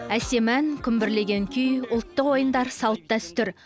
әсем ән күмбірлеген күй ұлттық ойындар салт дәстүр